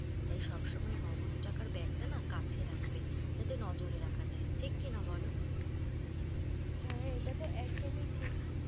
তাই সবসময় নগদ টাকার bag টা না কাছে রাখবে। যাতে নজরে রাখা যায়। ঠিক কি না বলো? হ্যাঁ এটা তো একদমই ঠিক।